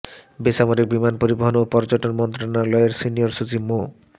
বেসামরিক বিমান পরিবহন ও পর্যটন মন্ত্রণালয়ের সিনিয়র সচিব মো